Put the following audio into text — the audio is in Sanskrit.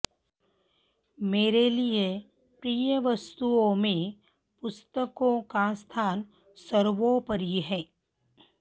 मेरे लिए प्रिय वस्तुओं में पुस्तकों का स्थान सर्वोपरि है